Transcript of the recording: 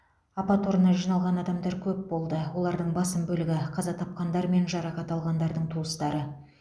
апат орнына жиналған адамдар көп болды олардың басым бөлігі қаза тапқандар мен жарақат алғандардың туыстары